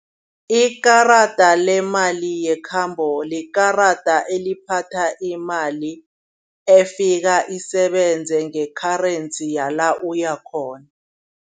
Ikararada lemali yekhambo likarada seliphathwa imali efika isebenze nge-currency yala uya khona.